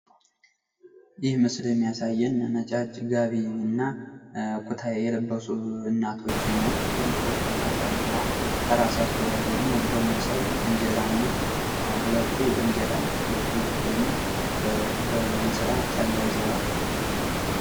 ይህ ምስሉ የሚያሳየን ነጫጭ ጋቢና ኩታ የለበሱ እናቶችን ነው። ጥቁር ጥምጣም ጠምጥመዋል። ከራሳቸው ላይ ደግሞ እንጀራና ሁለቱ እንጀራ ሁለቱ ደግሞ በእንስራ ጠላ ይዘዋል።